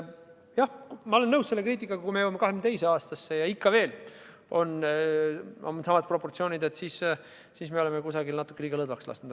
Jah, ma olen nõus selle kriitikaga, et kui me jõuame 2022. aastasse ja meil on ikka veel samad proportsioonid, siis me oleme kusagil natuke liiga lõdvaks lasknud.